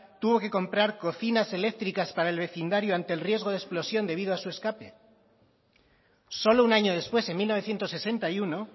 tuvo que comprar cocinas eléctricas para el vecindario ante el riesgo de explosión debido a su escape solo un año después en mil novecientos sesenta y uno